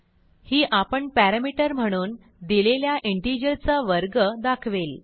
ही आपण पॅरामीटर म्हणून दिलेल्या इंटिजर चा वर्ग दाखवेल